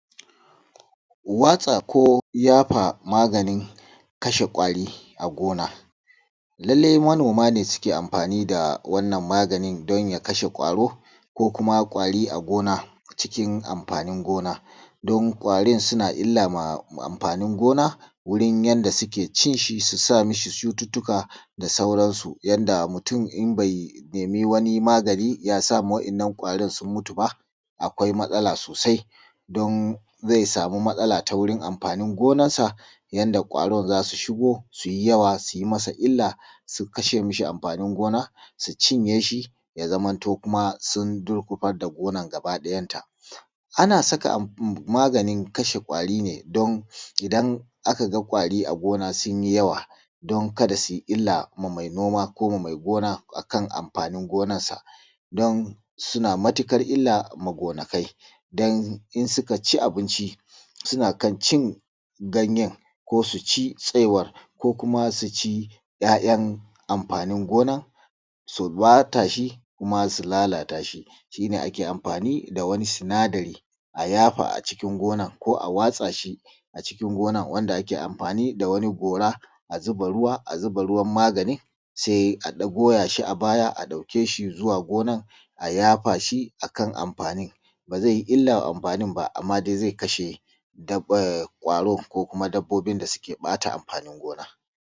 watsa ko ϳafa maganin kasha kwari a gona lallai manoma ne suke amfani da wannan maganin danya kashe kwaro ko kuma kwaro a gona ko cikin amfanin gona dan kwarin suna illa ma amfanin gona wurin yand suke cinshi susa mishi cututtuka da sauran yanda mutun in bai nemi wani magani yasa ma wayannan kwari sun mutu ba akwai matsala sosai dan zai samu matsala ta wurin amfanin gonan sa yanda kwarn zasu shigo suyi yawa suyi masa illa sukashe masa amfanin gona su cinye shi yazamto kuma sun gurkufar da gonan gabaki dayan ta anan saka maganin kashe kwari ne idan akaga kwari a gonar sunyi yawa dan kada suyi illa ma mai gona ko mai noma akan amfanin gonarsa don suna matukar illa ma gonakai don idan sukaci abinci sukan cin ganyen ko tsaiwar ko kuma suci yayan amfanin su bata shi ko kuma su lalatashi shine ake amfani dawi sinadari ayafa a cikin gonan ko a watsa shi a cikin gonan wanda ake amfani da wani gora a zuba ruwa a ciki a zuba magani sai a goyashi a baya a daukeshi zuwa gonan sai a yafashi akan amfanin bazai illa ma amfani ba amma zai kasha kwaro ko kuma dabbobin da suke bata amfanin gona